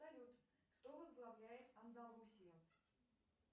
салют кто возглавляет андалусию